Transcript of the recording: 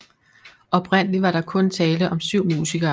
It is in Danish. Oprindeligt var der kun tale om 7 musikere